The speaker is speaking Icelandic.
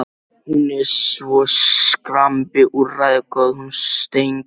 Hún er svo skrambi úrræðagóð, hún Steingerður.